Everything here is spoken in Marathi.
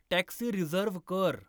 टॅक्सी रिझर्व्ह कर